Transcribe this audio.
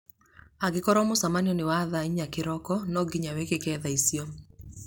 Angĩkorũo mũcemanio nĩ wa thaa inya kĩroko, nonginya wĩkĩke thaa icio